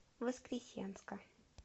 воскресенска